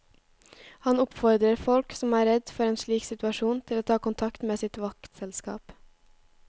Han oppfordrer folk som er redd for en slik situasjon til å ta kontakt med sitt vaktselskap.